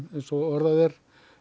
eins og orðað er